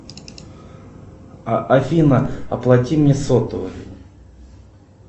афина оплати мне сотовый